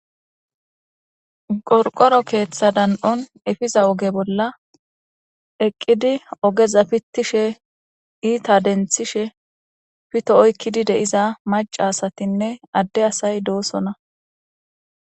Qorqoro keththa dan'on efiza ogera eqiddi ogeza pitishe iita denthishe pitto oykkidi de'iza macca asatinne adde asati de'osoona.